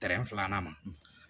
filanan ma